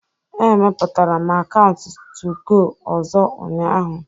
Emepụtara m akaụntụ 2go ọzọ ụnyaahụ